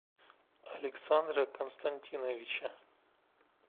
александра константиновича